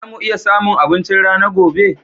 Za mu iya samun abinchin rana gobe?